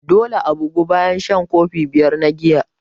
Dole a bugu bayan shan kofi biyar na giya.